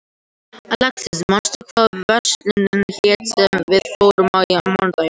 Alexis, manstu hvað verslunin hét sem við fórum í á mánudaginn?